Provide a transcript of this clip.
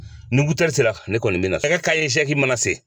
Ni sera ne kɔni mina, nɛgɛ kanɲɛ segin mana se